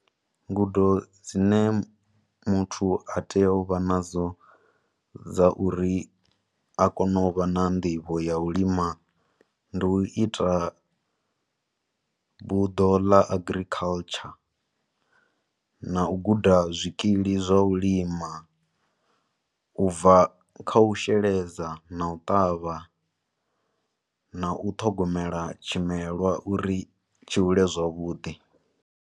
Ngudo dzine muthu a tea u vha nadzo, dza uri akone u vha na nḓivho ya u lima, ndi u ita buḓo ḽa agriculture, na u guda zwikili zwa ulima, u bva kha u sheledza na u ṱavha, na u ṱhogomela tshimelwa uri tshi hule zwavhuḓi.